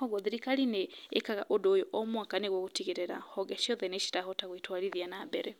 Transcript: Ũguo thirikari nĩĩkaga ũndũ ũyũ o mwana nĩgwo gũtigĩrĩra honge ciothe nĩ cirahota gwitwarithia na mbere.